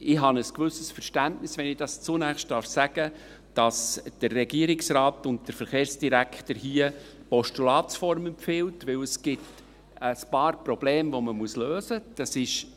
Ich habe ein gewisses Verständnis – wenn ich dies zunächst sagen darf –, dass der Regierungsrat und der Verkehrsdirektor hier die Postulatsform empfehlen, denn es gibt ein paar Probleme, die man lösen muss: